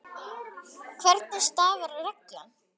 Hvernig starfar reglan?